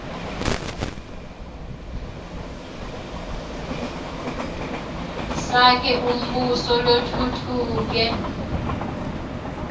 sakhe umbuso lotfutfuke